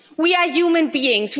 We are human beings.